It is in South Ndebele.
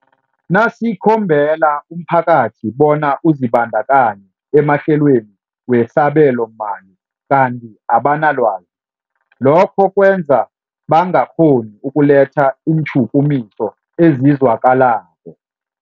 Nasikhombela umphakathi bona uzibandakanye emahlelweni wesabelomali kanti abanalwazi, lokho kwenza bangakghoni ukuletha iintjhukumiso ezizwakalako.